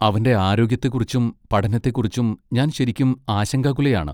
അവന്റെ ആരോഗ്യത്തെക്കുറിച്ചും പഠനത്തെക്കുറിച്ചും ഞാൻ ശരിക്കും ആശങ്കാകുലയാണ്.